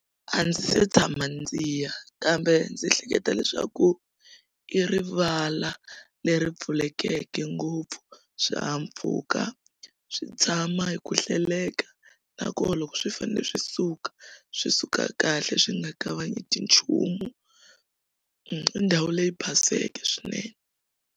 A ndzi se tshama ndzi ya kambe ndzi ehleketa leswaku i rivala leri pfulekeke ngopfu swihahampfhuka swi tshama hi ku hleleka nakona loko swi fanele swi suka swi suka kahle swi nga kavanyeti nchumu i ndhawu leyi paseke swinene.